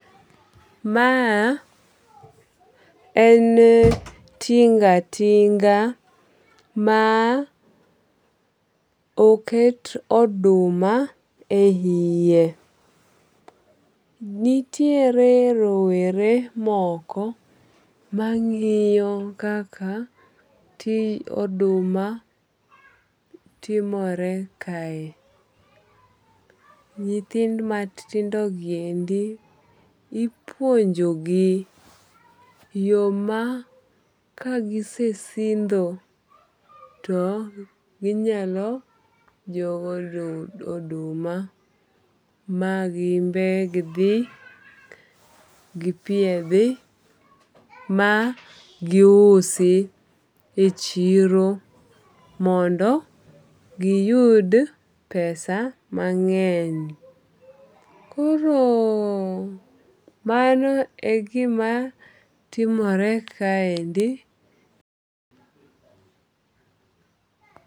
Ma en tinga tinga ma oket oduma e iye. Nitiere rowere moko mang'iyo kaka oduma timore kae. Nyithindo matindo giendi ipuonjo gi yo ma kagise sindho to ginyalo jowo oduma ma gimbegdhi gi gipiedhi ma giusi e chiro mondo giyud pesa mang'eny. Koro mano e gima timore kaendi.